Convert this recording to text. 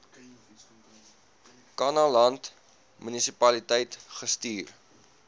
kannaland munisipaliteit gestuur